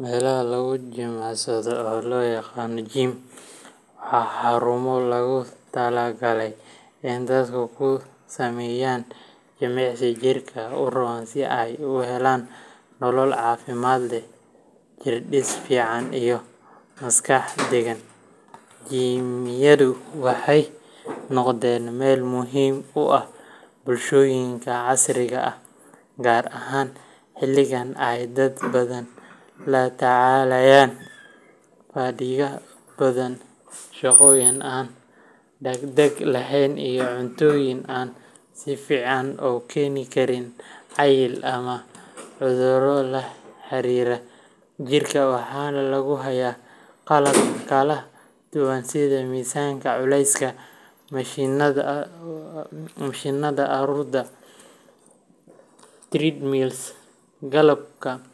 Meelaha lagu jimicsado, oo loo yaqaan gym, waa xarumo loogu talagalay in dadku ku sameeyaan jimicsi jirka u roon si ay u helaan nolol caafimaad leh, jirdhis fiican, iyo maskax degan. Gymyadu waxay noqdeen meel muhiim u ah bulshooyinka casriga ah, gaar ahaan xilligan ay dad badan la tacaalayaan fadhiga badan, shaqooyin aan dhaqdhaqaaq lahayn, iyo cuntooyin aan fiicnayn oo keeni kara cayil ama cudurro la xiriira jirka. Waxaa lagu hayaa qalab kala duwan sida miisaska culayska, mashiinnada orodka treadmills, qalabka